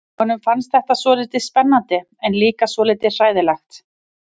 Honum fannst þetta svolítið spennandi en líka svolítið hræðilegt.